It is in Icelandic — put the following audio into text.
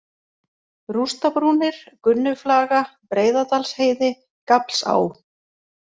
Rústabrúnir, Gunnuflaga, Breiðadalsheiði, Gaflsá